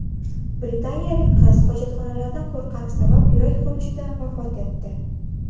Britaniyalik qiz hojatxonalardan qo‘rqqani sabab yurak xurujidan vafot etdi.